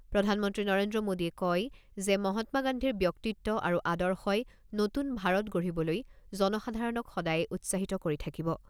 প্ৰধানমন্ত্ৰী নৰেন্দ্ৰ মোদীয়ে কয় যে, মহাত্মা গান্ধীৰ ব্যক্তিত্ব আৰু আদৰ্শই নতুন ভাৰত গঢ়িবলৈ জনসাধাৰণক সদায়ে উৎসাহিত কৰি থাকিব।